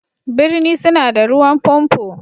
Birni suna da ruwan pompo.